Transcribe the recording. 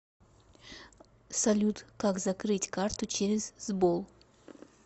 салют как закрыть карту через сбол